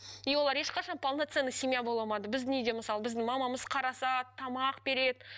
и олар ешқашан полноценный семья бола алмады біздің үйде мысалы біздің мамамыз қарасады тамақ береді